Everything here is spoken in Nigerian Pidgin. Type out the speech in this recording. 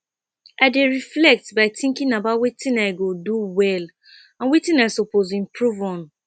i dey reflect by thinking about wetin i go do well and wetin i suppose improve on